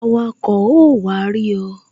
Awako ó wá rí ọ